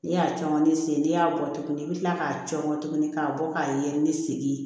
N'i y'a caman ne sen n'i y'a bɔ tuguni i bɛ kila k'a cɔŋɔ tuguni k'a bɔ k'a ye ni segin ye